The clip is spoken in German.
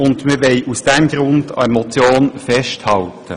Aus diesem Grund möchten wir an der Motion festhalten.